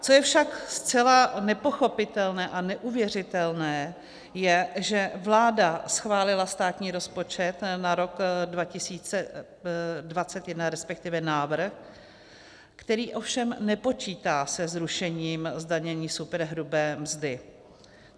Co je však zcela nepochopitelné a neuvěřitelné, je, že vláda schválila státní rozpočet na rok 2021, respektive návrh, který ovšem nepočítá se zrušením zdanění superhrubé mzdy.